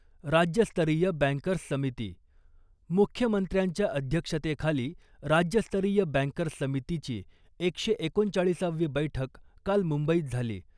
राज्यस्तरीय बँकर्स समिती मुख्यमंत्र्यांच्या अध्यक्षतेखाली राज्यस्तरीय बँकर्स समितीची एकशे एकोणचाळीसावी बैठक काल मुंबईत झाली .